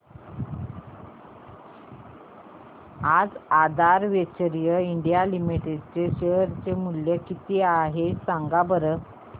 आज Aadhaar ventures India limited चे share चे मूल्य किती आहे सांगा बरं